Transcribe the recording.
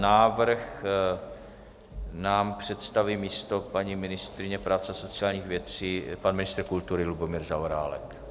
Návrh nám představí místo paní ministryně práv a sociálních věcí pan ministr kultury Lubomír Zaorálek.